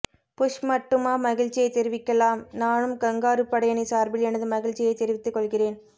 push மட்டுமா மகிழ்ச்சியை தெரிவிக்கலாம் நானும் கங்காரு படையணி சார்பில் எனது மகிழ்ச்சியை தெரிவித்து கொள்கிறேன்